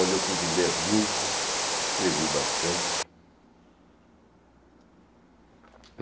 Onde eu pude ler muito, escrevi bastante.